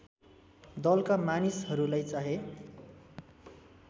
दलका मानिसहरूलाई चाहे